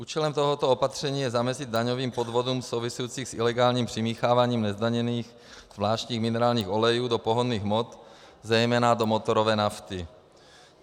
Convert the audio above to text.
Účelem tohoto opatření je zamezit daňovým podvodům souvisejícím s ilegálním přimícháváním nezdaněných zvláštních minerálních olejů do pohonných hmot, zejména do motorové nafty.